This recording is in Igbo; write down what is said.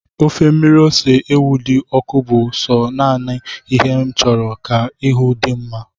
Ofe mmiri ose ewu di oku bu so nana ihe nchuru ka ahu di'm nma